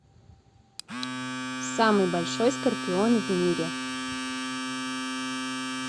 самый большой скорпион в мире